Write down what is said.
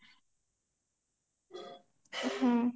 ହୁଁ